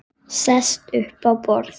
Sest upp á borð.